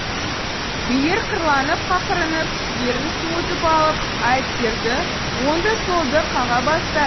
билер қырланып қақырынып түстерін суытып алып айыпкерді оңды солды қаға бастады